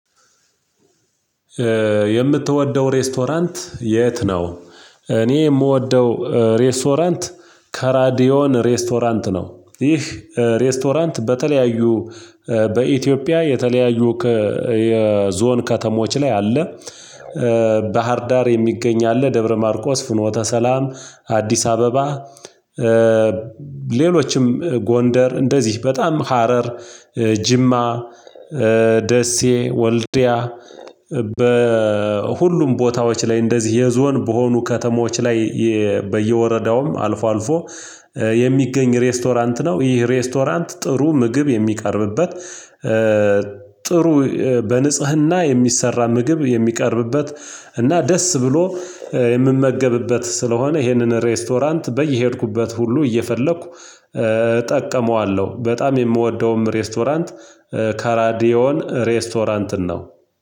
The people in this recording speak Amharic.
የምትወደው ሬስቶራንት የት ነው? እኔ የምወደው ከራዲዮን ሬስቶራንት ነው ይህ ሬስቶራንት በተለያዩ በኢትዮጵያ የተለያዩ የዞን ከተሞች ላይ አለ ባህርዳር የሚገኝ አለ ደብረ ማርቆስ ፍኖተ ሰላም አዲስ አበባ ሌሎችም ጎንደር እንደዚህ በጣም ሀረር ጅማ ደሴ ወልድያ በሁሉም ቦታዎች ላይ እንደዚህ የዞን በሆኑ ከተሞች ላይ በየወረዳውም አልፎ አልፎ የሚገኝ ሬስቶራንት ነው ይህ ሬስቶራንት ጥሩ ምግብ የሚቀርብበት ጥሩ በንጽህና የሚሰራ ምግብ የሚቀርብበት እና ደስ ብሎ የምመገብበት ስለሆነ ይሄንን ሬስቶራንት በየሄድኩበት ሁሉ እየፈለኩ እጠቀመዋለሁ በጣም የምወደውም ሬስቶራንት ከራዲዮን ሬስቶራንት ነው